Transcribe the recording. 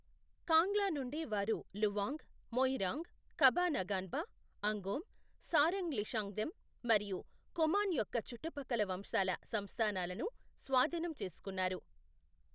కాంగ్లా నుండి వారు లువాంగ్, మోయిరాంగ్, ఖబా నగాన్బా, అంగోమ్, సారంగ్ లీషాంగ్థెమ్ మరియు ఖుమాన్ యొక్క చుట్టుపక్కల వంశాల సంస్థానాలను స్వాధీనం చేసుకున్నారు.